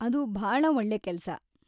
ಅದು ಭಾಳ ಒಳ್ಳೆ ಕೆಲ್ಸ.